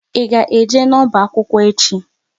Ị ga eje n'ọba akwụkwọ echi?